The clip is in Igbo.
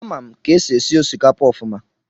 Amam ka esi esi osikapa ofuma.